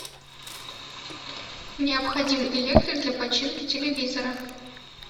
необходим электрик для починки телевизора